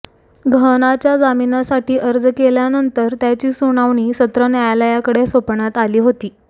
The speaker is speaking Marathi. गहनाच्या जामिनासाठी अर्ज केल्यानंतर त्याची सुनावणी सत्र न्यायाकडे सोपवण्यात आली होती